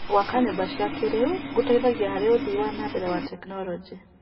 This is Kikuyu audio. Gwaka nyũmba cia kĩrĩu gũteithagia harĩ ũthii wa nambere wa tekinoronjĩ.